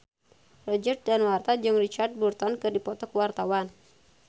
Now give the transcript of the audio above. Roger Danuarta jeung Richard Burton keur dipoto ku wartawan